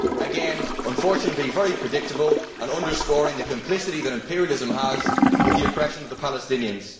Again, unfortunately very predictable an underscoring of the complicity that imperialism has with the oppression of the Palestinians.